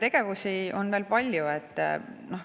Tegevusi on veel palju.